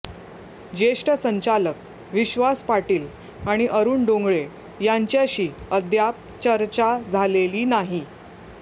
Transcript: ज्येष्ठ संचालक विश्वास पाटील आणि अरुण डोंगळे यांच्याशी अद्याप चर्चा झालेली नाही